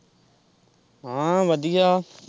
ਹਾਂ ਵਧੀਆ।